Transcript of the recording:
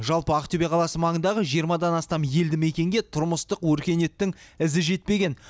жалпы ақтөбе қаласы маңындағы жиырмадан астам елді мекенге тұрмыстық өркениеттің ізі жетпеген